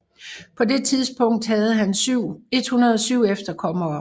På det tidspunkt havde han 107 efterkommere